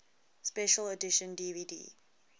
special edition dvd